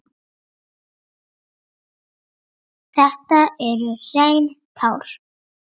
Þetta eru hrein tár.